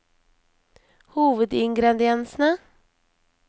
hovedingrediensene